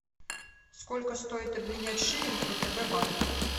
сколько стоит обменять шиллинг в втб банке